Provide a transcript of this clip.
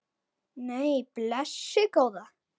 Nei, blessuð góða.